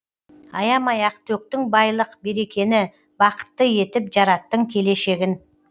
аямай ақ төктің байлық берекені бақытты етіп жараттың келешегін